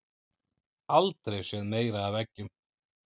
Aldrei séð meira af eggjum